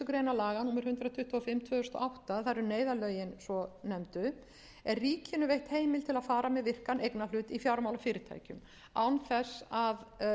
og átta það eru neyðarlögin svonefndu er ríkinu veitt heimild til að fara með virkan eignarhlut í fjármálafyrirtækjum án þess að